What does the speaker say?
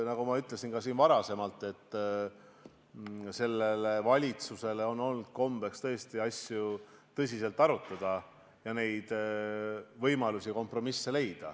Nagu ma ka siin varem ütlesin, on sellel valitsusel olnud kombeks asju tõsiselt arutada ning leida võimalusi ja kompromisse.